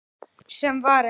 Sem var ekki.